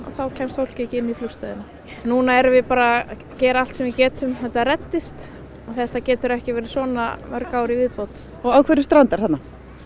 þá kemst fólk ekki inn í flugstöðina núna erum við bara að gera allt sem við getum þetta reddist þetta getur ekki verið svona í mörg ár í viðbót og á hverju strandar þarna